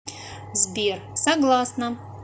сбер согласна